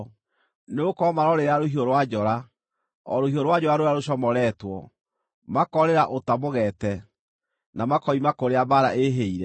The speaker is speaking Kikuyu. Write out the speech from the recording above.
Nĩgũkorwo maroorĩra rũhiũ rwa njora, o rũhiũ rwa njora rũrĩa rũcomoretwo, makoorĩra ũta mũgeete, na makoima kũrĩa mbaara ĩĩhĩire.